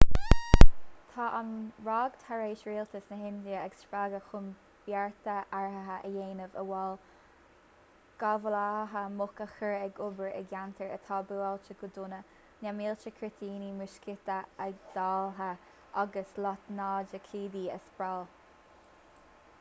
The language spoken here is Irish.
tá an ráig tar éis rialtas na hindia a spreagadh chun bearta áirithe a dhéanamh amhail gabhálaithe muc a chur ag obair i gceantair atá buailte go dona na mílte cuirtíní muiscíte a dháileadh agus lotnaidicídí a spraeáil